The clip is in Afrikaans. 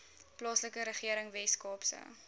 plaaslike regering weskaapse